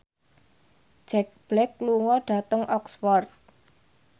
Jack Black lunga dhateng Oxford